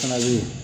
Fana bɛ yen